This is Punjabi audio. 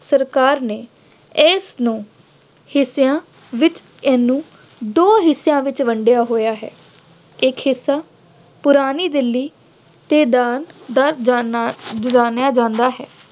ਸਰਕਾਰ ਨੇ ਇਸਨੂੰ ਹਿੱਸਿਆਂ ਵਿੱਚ ਇਹਨੂੰ ਦੋ ਹਿੱਸਿਆਂ ਵਿੱਚ ਵੰਡਿਆ ਹੋਇਆ ਹੈ। ਇੱਕ ਹਿੱਸਾ ਪੁਰਾਣੀ ਦਿੱਲੀ ਨਾਂ ਨਾਲ ਜਾਣਿਆ ਜਾਂਦਾ ਹੈ।